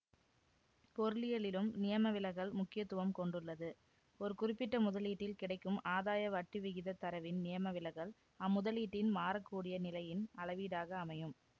பொருளியலிலும் நியமவிலகல் முக்கியத்துவம் கொண்டுள்ளது ஒரு குறிப்பிட்ட முதலீட்டில் கிடைக்கும் ஆதாய வட்டிவிகிதத் தரவின் நியமவிலகல் அம்முதலீட்டின் மாறக்கூடிய நிலையின் அளவீடாக அமையும்